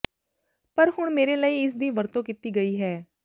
ਪਰ ਹੁਣ ਮੇਰੇ ਲਈ ਇਸਦੀ ਵਰਤੋਂ ਕੀਤੀ ਗਈ ਹੈ